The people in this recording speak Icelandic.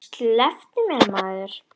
Slepptu mér maður.